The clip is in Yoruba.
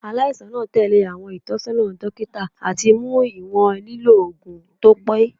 Alaisan naa tẹle awọn itọnisọna dokita ati mu iwọn lilo oogun to pe. "